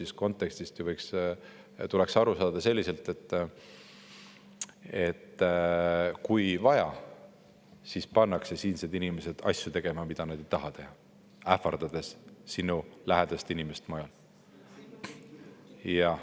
Aga kontekstist ju võiks aru saada, et kui vaja, siis ähvardades mõnda lähedast inimest mujal, pannakse siinsed inimesed tegema asju, mida nad ei taha teha.